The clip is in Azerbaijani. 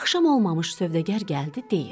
Axşam olmamış sövdəgar gəldi deyir: